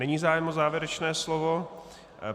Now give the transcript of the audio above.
Není zájem o závěrečné slovo.